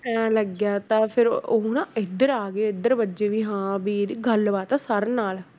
ਇਉਂ ਲੱਗਿਆ ਤਾਂ ਫਿਰ ਉਹ ਨਾ ਇੱਧਰ ਆ ਗਏ ਇੱਧਰ ਵੱਜੇ ਵੀ ਹਾਂ ਵੀ ਇਹਦੀ ਗੱਲਬਾਤ ਆ sir ਨਾਲ